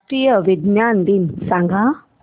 राष्ट्रीय विज्ञान दिन सांगा